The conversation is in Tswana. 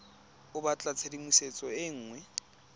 o batla tshedimosetso e nngwe